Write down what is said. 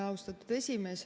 Austatud esimees!